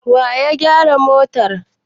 Wa ya gyara motar?